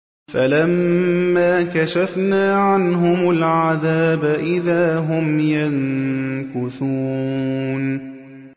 فَلَمَّا كَشَفْنَا عَنْهُمُ الْعَذَابَ إِذَا هُمْ يَنكُثُونَ